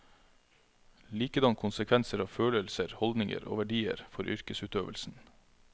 Likedan konsekvenser av følelser, holdninger og verdier for yrkesutøvelsen.